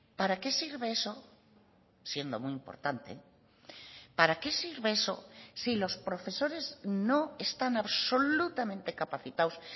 para qué sirve eso siendo muy importante para qué sirve eso si los profesores no están absolutamente capacitados